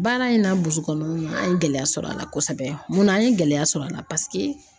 Baara in na burusi kɔnɔna na an ye gɛlɛya sɔrɔ a la kosɛbɛ mun na an ye gɛlɛya sɔrɔ a la paseke